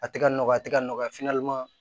A tɛ ka nɔgɔya a tɛ ka nɔgɔya